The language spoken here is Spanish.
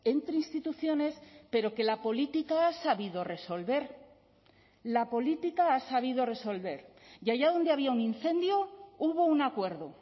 entre instituciones pero que la política ha sabido resolver la política ha sabido resolver y allá donde había un incendio hubo un acuerdo